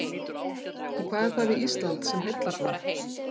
En hvað er það við Ísland sem heillar svona?